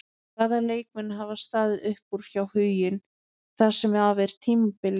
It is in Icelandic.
Hvaða leikmenn hafa staðið upp úr hjá Huginn það sem af er tímabili?